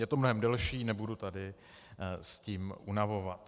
Je to mnohem delší, nebudu tady s tím unavovat.